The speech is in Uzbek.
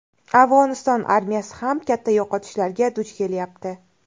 Afg‘oniston armiyasi ham katta yo‘qotishlarga duch kelyapti.